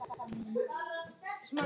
Hvernig sem það er hægt.